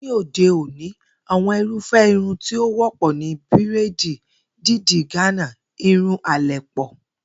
Ní òde òní àwo̩n irúfé̩ irun tí ó wó̩pò̩ ni bíréèdì, dídì Gánà, irun àlè̩pò̩